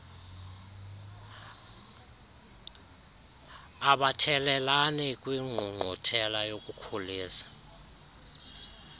abathelelani kwingqungquthela yokukhulisa